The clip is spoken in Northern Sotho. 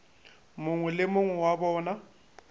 mongwe le mongwe wa bona